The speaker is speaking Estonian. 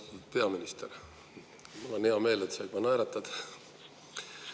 Austatud peaminister, mul on hea meel, et sa juba naeratad.